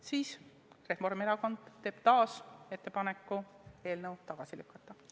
Seepärast Reformierakond teeb ettepaneku eelnõu tagasi lükata.